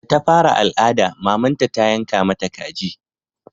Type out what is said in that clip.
Da ta fara al'ada mamanta ta yanka mata kaji